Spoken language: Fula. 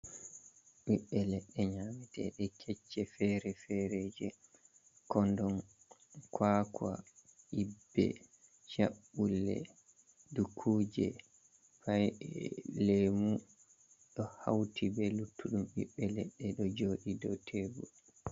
Bibbe ledɗe ladde kecce fere-fere je kondon kakwa, ibbe, cabbule, dukuje, be lemu do hauti be luttuɗum biɓbe ledde do jodi do tebul.